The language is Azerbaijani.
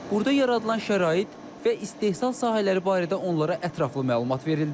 Burda yaradılan şərait və istehsal sahələri barədə onlara ətraflı məlumat verildi.